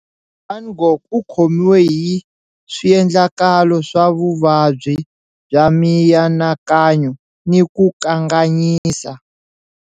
Van Gogh u khomiwe hi swiendlakalo swa vuvabyi bya mianakanyo ni ku kanganyisa.